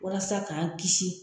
Walasa k'an kisi